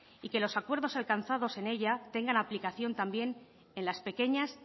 y que los acuerdos alcanzados sin ella tengan aplicación también en las pequeñas